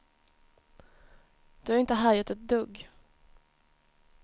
Du har ju inte hajat ett dugg.